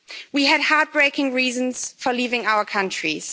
We had heart breaking reasons for leaving our countries.